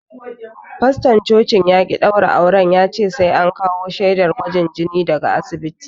Faston cocin ya ƙi daura auren yace sai an kawo shaidar gwajin jini daga asibiti.